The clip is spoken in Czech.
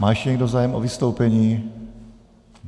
Má ještě někdo zájem o vystoupení?